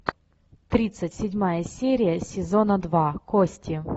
тридцать седьмая серия сезона два кости